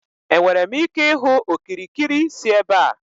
Enwere m ike ịhụ okirikiri si ebe a?